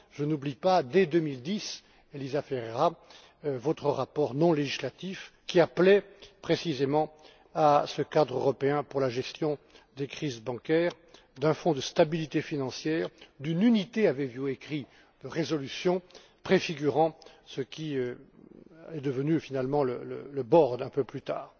Je n'oublie pas, dès 2010, ElisaFerreira, votre rapport non législatif qui appelait précisément à ce cadre européen pour la gestion des crises bancaires, à un Fonds de stabilité financière et à une unité aviez vous écrit de résolution préfigurant ce qui est devenu finalement le board un peu plus tard.